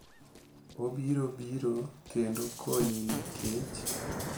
Obiro biro kendo konyi nikech,